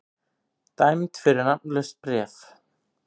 Dæmd fyrir nafnlaust bréf